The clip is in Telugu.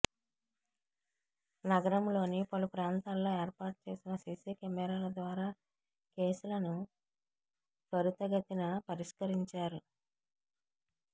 నగరంలోని పలు ప్రాంతాల్లో ఏర్పాటుచేసిన సిసి కెమెరాల ద్వారా కేసులను త్వరితగతిన పరిష్కరించారు పోలీసులు